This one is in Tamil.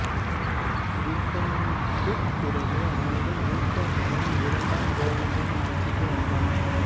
கிருட்டிணனுக்குப் பிறகு அவனது மூத்த மகன் இரண்டாம் கோவிந்தன் ஆட்சிக்கு வந்தான்